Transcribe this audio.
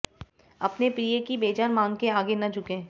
अपने प्रिय की बेजान मांग के आगे न झुकें